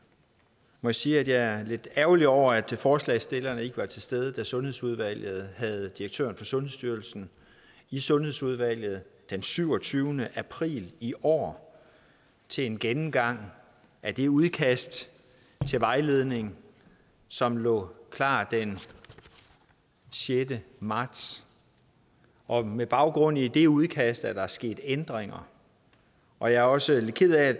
må jeg sige at jeg er lidt ærgerlig over at forslagsstillerne ikke var til stede da sundhedsudvalget havde direktøren for sundhedsstyrelsen i sundhedsudvalget den syvogtyvende april i år til en gennemgang af det udkast til vejledning som lå klar den sjette marts og med baggrund i det udkast er der sket ændringer og jeg er også lidt ked af